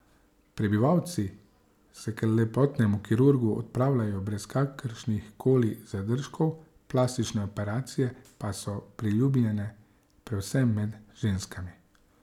Prebivalci se k lepotnemu kirurgu odpravljajo brez kakršnih koli zadržkov, plastične operacije pa so priljubljene predvsem med ženskami.